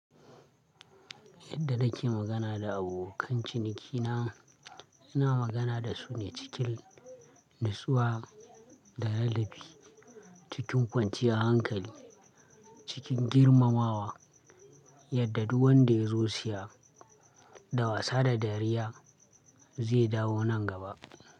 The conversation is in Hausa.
Yadda nake magana da abokan ciniki na, ina magana da su ne cikin natsuwa da ladabi, cikin kwanciyar hankali, cikin girmamawa yadda duk wanda ya zo Siya da wasa da dariya zai dawo nan gaba.